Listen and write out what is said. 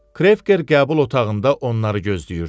Krefker qəbul otağında onları gözləyirdi.